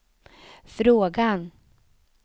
frågan